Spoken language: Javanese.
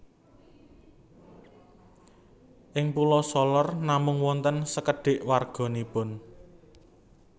Ing Pulo Solor namung wonten sekedhik warga nipun